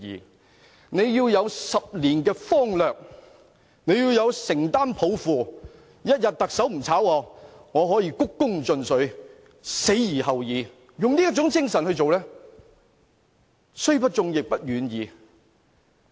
他們要有10年的方略，要承擔抱負，特首一天不辭退他們，也要鞠躬盡瘁，死而後已，用這種精神來做事，雖不中，亦不遠矣。